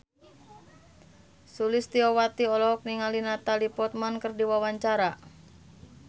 Sulistyowati olohok ningali Natalie Portman keur diwawancara